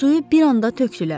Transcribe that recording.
Suyu bir anda tökdülər.